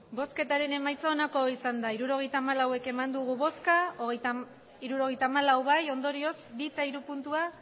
emandako botoak hirurogeita hamalau bai hirurogeita hamalau ondorioz bi eta hiru puntua